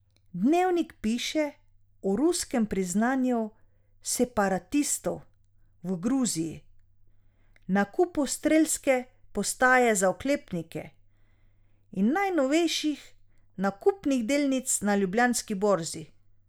Dnevnik piše o ruskem priznanju separatistov v Gruziji, nakupu strelske postaje za oklepnike in najnovejših nakupih delnic na Ljubljanski borzi.